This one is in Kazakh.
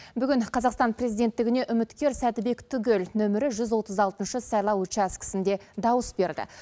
бүгін қазақстан президенттігіне үміткер сәтібек түгел нөмірі жүз отыз алтыншы сайлау учаскісінде дауыс берді